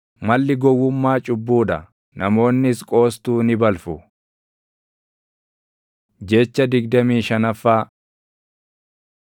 Malli gowwummaa cubbuu dha; namoonnis qoostuu ni balfu. Jecha digdamii shanaffaa